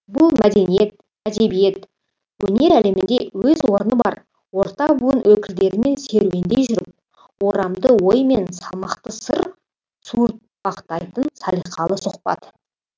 бұл мәдениет әдебиет өнер әлемінде өз орны бар орта буын өкілдерімен серуендей жүріп орамды ой мен салмақты сыр суыртпақтайтын салиқалы сұхбат